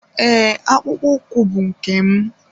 Ee, akpụkpọ ụkwụ bụ nke m.